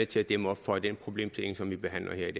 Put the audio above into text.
til at dæmme op for de problemer som vi behandler her